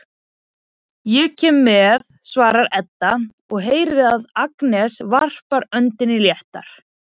Ég kem með, svarar Edda og heyrir að Agnes varpar öndinni léttar.